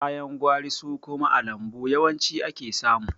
Ka yan gwari su kuma a lambu yawanci ake samu.